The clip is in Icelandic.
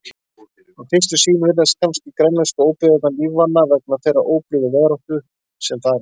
Við fyrstu sýn virðast kannski grænlensku óbyggðirnar lífvana vegna þeirrar óblíðu veðráttu sem þar ríkir.